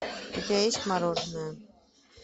у тебя есть мороженое